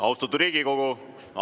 Austatud Riigikogu!